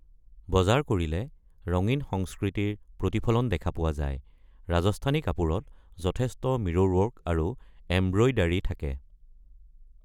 বজাৰ কৰিলে ৰঙীন সংস্কৃতিৰ প্ৰতিফলন দেখা পোৱা যায়, ৰাজস্থানী কাপোৰত যথেষ্ট মিৰ'ৰৱৰ্ক আৰু এম্ব্ৰইডাৰী থাকে।